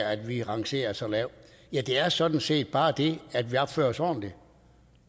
at vi rangerer så lavt ja det er sådan set bare det at vi opfører os ordentligt